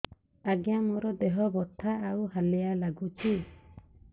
ଆଜ୍ଞା ମୋର ଦେହ ବଥା ଆଉ ହାଲିଆ ଲାଗୁଚି